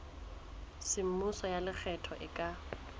semmuso ya lekgetho e ka